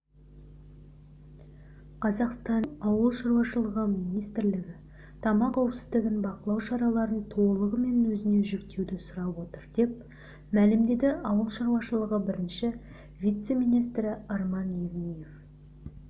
қазақстанның ауыл шаруашылығы министрлігі тамақ қауіпсіздігін бақылау шараларын толығымен өзіне жүктеуді сұрап отыр деп мәлімдеді ауыл шаруашылығы бірінші вице-министрі арман евниев